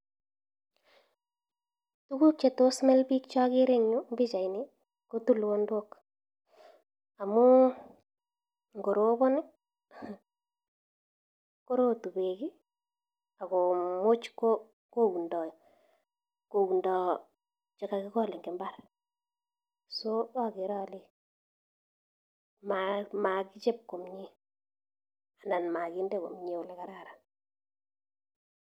Tuguk chetos mil biik che ogere en pichaini ko tulonok. Amun ngorobon ii, korotu beek iii agomuch koundo chekakigol en mbar. So agere ole magichob komyee anan moginde komye ole kararan.